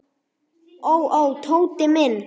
Ó, ó, Tóti minn.